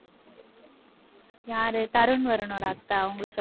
யாரு தருண் வருணோட அத்தை. அவங்களை சொல்~